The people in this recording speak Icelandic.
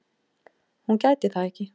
Hún gæti það ekki.